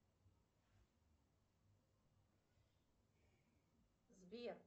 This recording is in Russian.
сбер